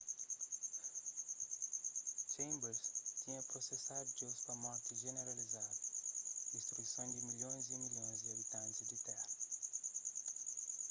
chambers tinha prosesadu deus pa morti jeneralizadu distruison di milhons y milhons di abitantis di téra